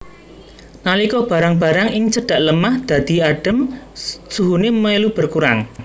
Nalika barang barang ing cedhak lemah dadhi adem suhune melu berkurang